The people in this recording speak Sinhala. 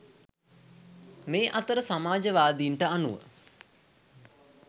මේ අතර සමාජවාදීන්ට අනුව